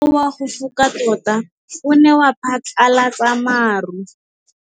Mowa o wa go foka tota o ne wa phatlalatsa maru.